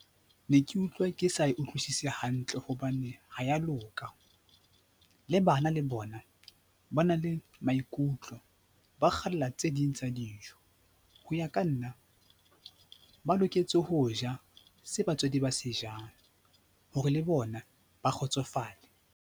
Ne ke utlwa ke sa e utlwisise hantle hobane ha ya loka le bana le bona ba na le maikutlo, ba kgalla tse ding tsa dijo. Ho ya ka nna ba loketse ho ja se batswadi ba se jang hore le bona ba kgotsofale.